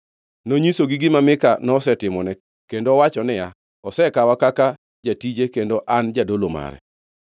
Nonyisogi gima Mika nosetimone, kendo owacho niya, “Osekawa kaka jatije kendo an jadolo mare.”